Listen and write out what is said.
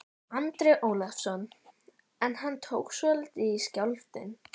Andri Ólafsson: En hann tók svolítið í, skjálftinn?